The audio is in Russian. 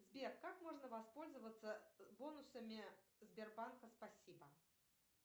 сбер как можно воспользоваться бонусами сбербанка спасибо